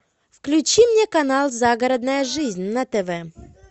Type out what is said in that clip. включи мне канал загородная жизнь на тв